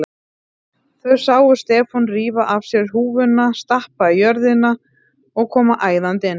Þau sáu Stefán rífa af sér húfuna, stappa í jörðina og koma æðandi inn.